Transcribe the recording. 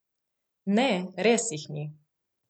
Ne, res jih ni!